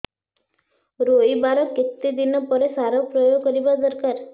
ରୋଈବା ର କେତେ ଦିନ ପରେ ସାର ପ୍ରୋୟାଗ କରିବା ଦରକାର